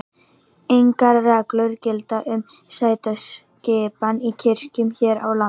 Engar reglur gilda um sætaskipan í kirkjum hér á landi.